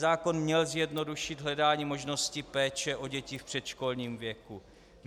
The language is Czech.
Zákon měl zjednodušit hledání možnosti péče o děti v předškolním věku.